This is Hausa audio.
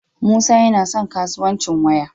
Musa yana son kasuwanci waya